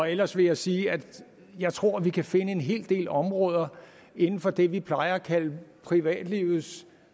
ellers vil jeg sige at jeg tror vi kan finde en hel del områder inden for det vi plejer at kalde privatlivets